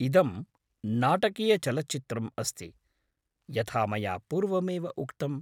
इदं नाटकीयचलच्चित्रम् अस्ति, यथा मया पूर्वमेव उक्तम्।